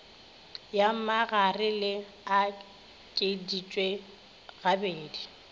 ya magare le okeditšwe gabedi